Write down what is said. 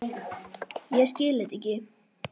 Ég skil þetta ekki!